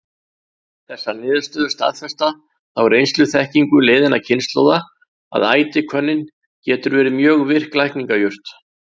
Þessar niðurstöður staðfesta þá reynsluþekkingu liðinna kynslóða, að ætihvönnin getur verið mjög virk lækningajurt.